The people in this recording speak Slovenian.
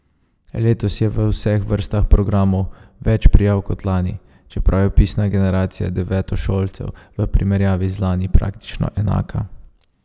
Letos je v vseh vrstah programov več prijav kot lani, čeprav je vpisna generacija devetošolcev v primerjavi z lani praktično enaka.